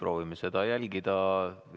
Proovime seda ettepanekut järgida.